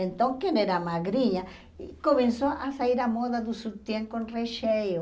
Então, quem era magrinha, começou a sair a moda do sutiã com recheio.